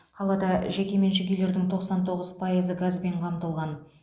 қалада жекеменшік үйлердің тоқсан тоғыз пайызы газбен қамтылған